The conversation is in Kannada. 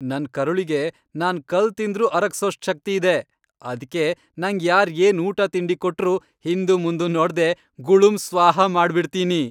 ನನ್ ಕರುಳಿಗೆ ನಾನ್ ಕಲ್ಲ್ ತಿಂದ್ರೂ ಅರಗ್ಸೋಷ್ಟ್ ಶಕ್ತಿ ಇದೆ, ಅದ್ಕೆ ನಂಗ್ ಯಾರ್ ಏನ್ ಊಟ ತಿಂಡಿ ಕೊಟ್ರೂ ಹಿಂದುಮುಂದು ನೋಡ್ದೇ ಗುಳುಂ ಸ್ವಾಹಾ ಮಾಡ್ಬಿಡ್ತೀನಿ.